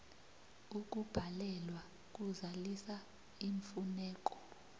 ukubhalelwa kuzalisa iimfuneko